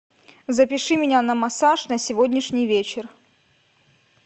запиши меня на массаж на сегодняшний вечер